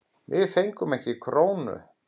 Við fengum ekki krónu.